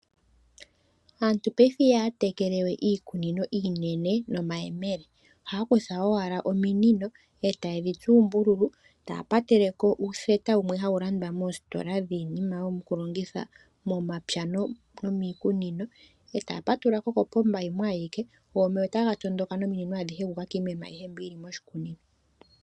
Aantu paife ihaya tekele we iikunino yawo nomayemele ohaya kutha owala omimino, etayedhi tsu oombululu taya pateleko ootheta dhimwe hadhi landwa moositola ndhiinima yokulongitha momapya nomiikunino e taya patululako kopomba yimwe ayike go omeya otagaatula nominino adhihe dhu uka kiimeno ayihe mbi yili moshikunino.